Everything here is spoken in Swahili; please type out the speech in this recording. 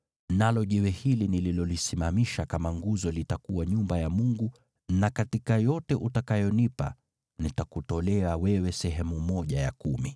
nalo jiwe hili nililolisimamisha kama nguzo litakuwa nyumba ya Mungu na katika yote utakayonipa nitakutolea wewe sehemu ya kumi.”